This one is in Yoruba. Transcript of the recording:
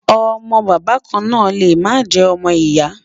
ọ̀mò bàbá kàn nà lè má jè ọmọ ìyà